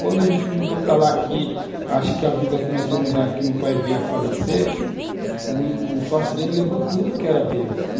Quando a gente mudou para lá, que acho que a vida começou a mudar, que meu pai veio a falecer, o o sócio dele levou tudo que era deles.